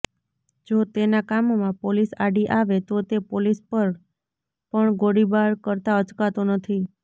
જો તેના કામમાં પોલીસ આડી આવે તો તે પોલીસ પર પણ ગોળીબાર કરતા અચકાતો નથી